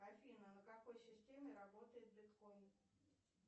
афина на какой системе работает биткоин